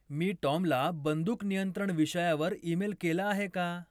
मी टॉमला बंदूक नियंत्रण विषयावर ईमेल केला आहे का?